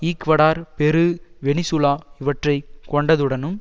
Ecuador Peru Venezuela இவற்றை கொண்டதுடனும்